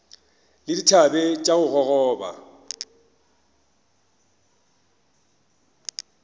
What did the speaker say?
le dithabe tša go gogoba